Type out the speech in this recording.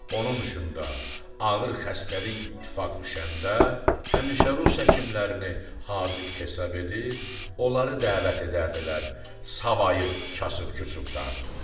Onun üçün də ağır xəstəlik ittifaq düşəndə həmişə rus həkimlərini haziq hesab edib, onları dəvət edərdilər, savayı kasıb-kusubdan.